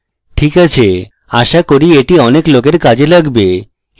ok আছে আশা করি এটি অনেক লোকের কাজে লাগবে